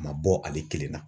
A ma bɔ ale kelen na.